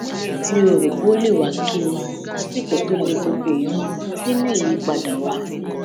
mi ò rò pé ó lè wá kí mi lásìkò tó le koko yìí nínú ìyípadà wa